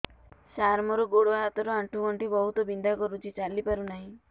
ସାର ମୋର ଗୋଡ ହାତ ର ଆଣ୍ଠୁ ଗଣ୍ଠି ବହୁତ ବିନ୍ଧା କରୁଛି ଚାଲି ପାରୁନାହିଁ